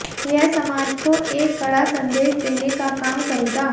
यह समाज को एक कड़ा संदेश देने का काम करेगा